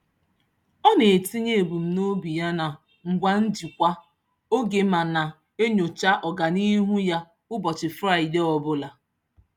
Ọ na-etinye ebumnobi ya na ngwa njikwa oge ma na-enyocha ọganihu ya ụbọchị Fraịdee ọbụla.